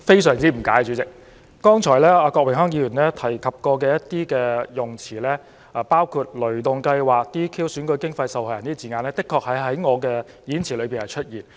郭榮鏗議員剛才提及的一些用詞，包括"雷動計劃"、"DQ"、"選舉經費"和"受害人"等字眼，確實曾在我的演辭中出現。